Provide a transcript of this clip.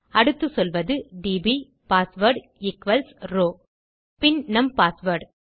அடுத்து சொல்வது DB password equals row பின் நம் பாஸ்வேர்ட்